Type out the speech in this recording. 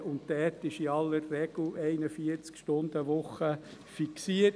Dort ist eigentlich in aller Regel die 41-Stunden-Woche fixiert.